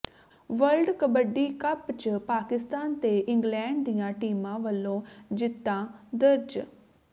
world kabaddi cup ਚ ਪਾਕਿਸਤਾਨ ਤੇ England ਦੀਆਂ ਟੀਮਾਂ ਵਲੋਂ ਜਿੱਤਾਂ ਦਰਜ